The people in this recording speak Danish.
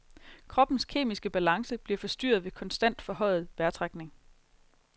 Kroppens kemiske balance bliver forstyrret ved konstant forhøjet vejrtrækning.